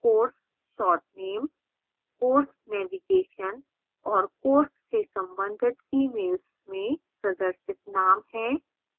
course short name course navigation और course से संबंधित emails में प्रदर्शित name है